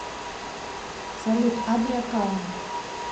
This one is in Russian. салют адриа кайн